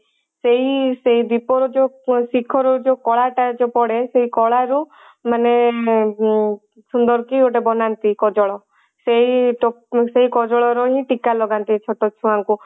ସେଇ ସେଇ ଦୀପ ରୁ ଯଉ ଶିଖର ର ଯଉ କଳା ଟା ଯଉ ପଡେ ସେଇ କଳା ରୁ ମାନେ ଉଁ ସୁନ୍ଦର କି ଗୋଟେ ବନାନ୍ତି ଗୋଟେ କଜଳ ସେଇ ସେଇ କଜଳ ରେ ହିଁ ଟୀକା ଲଗାନ୍ତି ଛୋଟ ଛୁଆ ଙ୍କୁ